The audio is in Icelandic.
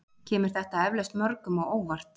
Kemur þetta eflaust mörgum á óvart